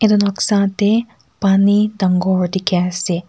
itu noksa teh paani dangor dikhi ase.